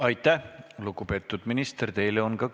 Aitäh, lugupeetud minister!